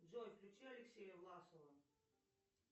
джой включи алексея власова